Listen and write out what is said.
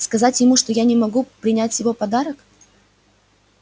сказать ему что я не могу принять его подарок